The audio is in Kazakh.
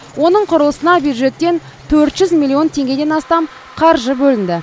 оның құрылысына бюджеттен төрт жүз миллион теңгеден астам қаржы бөлінді